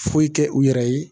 Foyi kɛ u yɛrɛ ye